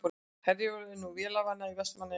Herjólfur er nú vélarvana í Vestmannaeyjahöfn